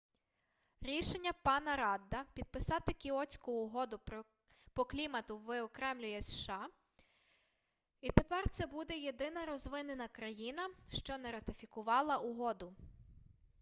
рішення пана радда підписати кіотську угоду по клімату виокремлює сша і тепер це буде єдина розвинена країна що не ратифікувала угоду